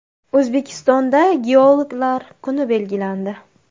O‘zbekistonda geologlar kuni belgilandi.